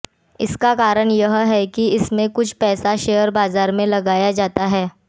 इसका कारण यह है कि इसमें कुछ पैसा शेयर बाजार में लगाया जाता है